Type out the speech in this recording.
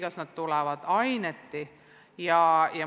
Kas need tulevad õppeaineti?